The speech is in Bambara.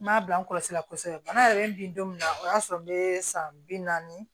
N m'a bila n kɔlɔsi la kosɛbɛ bana yɛrɛ bi don min na o y'a sɔrɔ n bɛ san bi naani